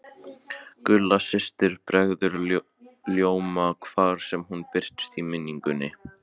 Gulla systir bregður ljóma hvar sem hún birtist í minningunni.